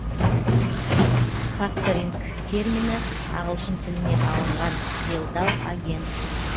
факторинг термині ағылшын тілінен алынған делдал агент